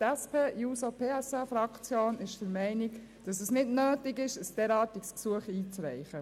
Die SP-JUSO-PSA-Fraktion ist der Meinung, dass es nicht nötig ist, ein derartiges Gesuch einzureichen.